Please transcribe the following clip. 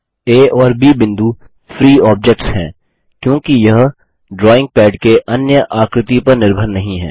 आ और ब बिंदु फ्री ऑब्जेक्ट्स हैं क्योंकि यह ड्राइंग पैड के अन्य आकृति पर निर्भर नहीं हैं